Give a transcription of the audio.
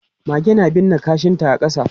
Mage na binne kashinta a ƙasa.